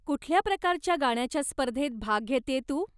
कुठल्या प्रकारच्या गाण्याच्या स्पर्धेत भाग घेतेय तू?